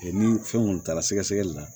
ni fɛn kɔni taara sɛgɛsɛgɛli la